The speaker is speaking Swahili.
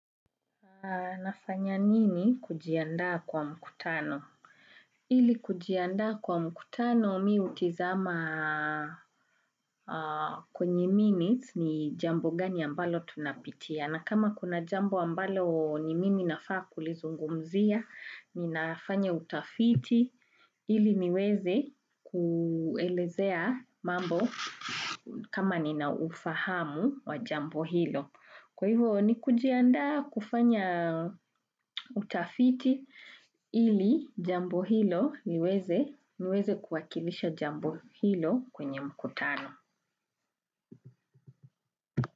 Nafanya nini kujiandaa kwa mkutano? Ili kujiandaa kwa mkutano mi hutizama kwenye minutes ni jambo gani ambalo tunapitia. Na kama kuna jambo ambalo ni mimi nafaa kulizungumzia, ninafanya utafiti. Ili niweze kuelezea mambo kama nina ufahamu wa jambo hilo. Kwa hivyo ni kujiandaa kufanya utafiti ili jambo hilo niweze kuwakilisha jambo hilo kwenye mkutano.